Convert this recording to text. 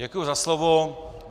Děkuji za slovo.